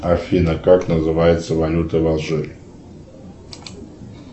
афина как называется валюта в алжире